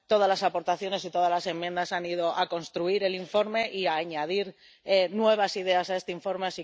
Todas las aportaciones y todas las enmiendas han ido a construir el informe y a añadir nuevas ideas a este informe.